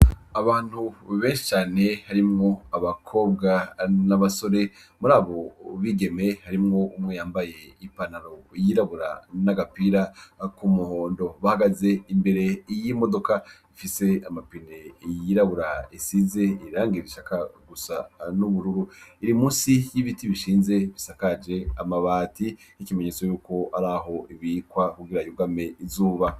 Abantu bbecane harimwo abakobwa n'abasore muri abu bigeme harimwo umwe yambaye ipanaro yirabura n'agapira ku muhondo bahagaze imbere iyo imodoka ifise amapine yirabura isize irangira ishaka gusa n'ubururu iri musi ibiti bishinze bisakaje amabati y'ikimenyetso yuko ari aho ibikwa kugira yugame izuba.